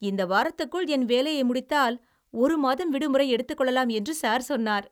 இந்த வாரத்துக்குள் என் வேலையை முடித்தால் ஒரு மாதம் விடுமுறை எடுத்துக் கொள்ளலாம் என்று சார் சொன்னார்!